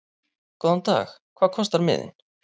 Góðan dag. Hvað kostar miðinn?